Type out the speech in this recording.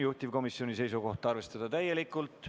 Juhtivkomisjoni seisukoht on arvestada seda täielikult.